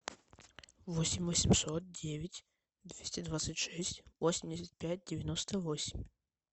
восемь восемьсот девять двести двадцать шесть восемьдесят пять девяносто восемь